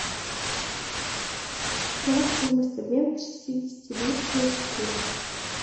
какова стоимость обмена шестидесяти лир на шекели